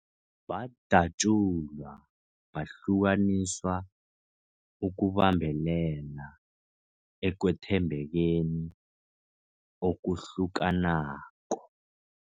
Badatjulwa, bahlukaniswa ukubambelela ekwethembekeni okuhlukanako.